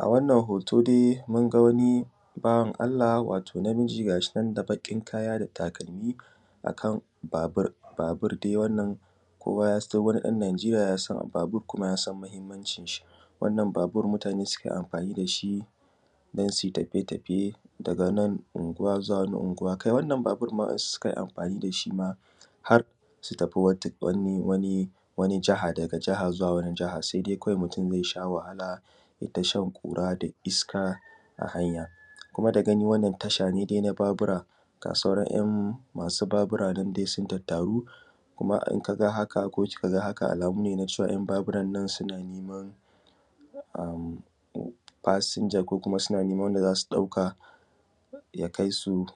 A wannan hoto dai munga wani bawan Allah wato namiji gashinan da baɓin kaya datakalmi akan babur. Babur wannan kowa yasan kowani ɗan najeriya yasan babur kuma yasan mahimmancin shi. Wannan babur mutane sukan amfani dashi dan sui tafiye tafiye daga wannan anguwa zuwa wannan gnguwa kai wannan babur ma wa ‘yan’ su sukan mafani dashi ma harsu tafi wani jiha daga wani jiha saidai kawai mutun zaisha wahala yaita shan ƙura da iska a hanya. Kuma da gani dai wannan tasha ne dai na ‘yan’ Babura gashinan dai masu Babura duk sun tattaru kuma in kaga haka ko ki kaga haka alamu ne nacewa ‘yan’ baburannan suna neman fashija, ko kuma suna naiman wanda zasu ɗauka ya kaisu